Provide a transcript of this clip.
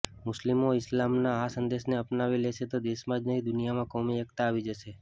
મુસ્લિમો ઈસ્લામના આ સંદેશને અપનાવી લેશે તો દેશમાં જ નહીં દુનિયામાં કોમી એકતા આવી જશે